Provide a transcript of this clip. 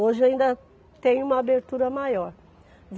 Hoje ainda tem uma abertura maior.